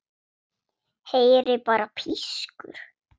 Heyri bara pískur.